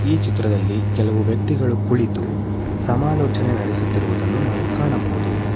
ಈ ಚಿತ್ರದಲ್ಲಿ ಕೆಲವು ವ್ಯಕ್ತಿಗಳು ಕುಳಿತು ಸಮಾಲೋಚನೆ ನಡೆಸುತ್ತಿರುವುದನ್ನು ಕಾಣಬಹುದು.